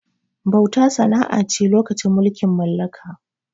Bauta sana'a ce lokacin mulkin mallaka